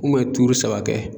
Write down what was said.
saba kɛ.